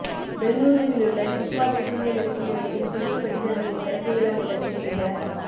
பெங்களூருவிலுள்ள கித்வாய் புற்றுநோய் தடுப்பு மையத்தில் புதிய கட்டிடங்களின் திறப்பு விழா நிகழ்ச்சியில் இந்த